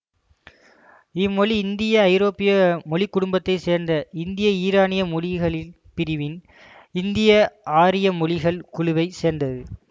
இம்மொழி இந்தியஐரோப்பிய மொழி குடும்பத்தை சேர்ந்த இந்தியஈரானிய மொழிகள் பிரிவின் இந்தியஆரிய மொழிகள் குழுவை சேர்ந்தது